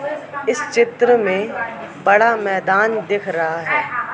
इस चित्र में बड़ा मैदान दिख रहा है।